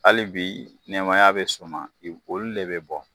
Hali bi nɛmaya bɛ sɔnna olu de bɛ bɔ.